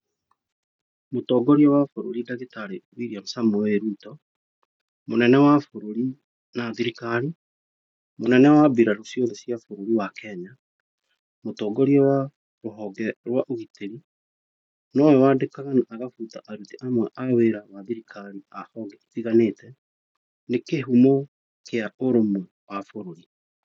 Mũtongoria wa bũrũri ndagĩtarĩ William Samoei Ruto. Mũnene wa bũrũri na thirikari, mũnene wa mbirarũ ciothe cia bũrũri wa Kenya. Mũtongoria wa rũhonge rwa ũgitĩri. Nowe wandĩkaga na agabuta aruti amwe a wĩra a thirikari a honge itiganĩte. Nĩ kĩhumo kĩa ũrũmwe wa bũrũri.